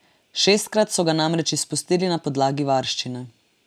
Šestkrat so ga namreč izpustili na podlagi varščine.